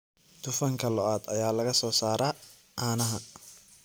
Dufanka lo'da ayaa laga soo saaraa caanaha